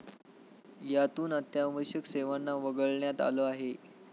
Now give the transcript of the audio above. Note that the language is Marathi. यातून अत्यावश्यक सेवांना वगळ्यात आलं आहे.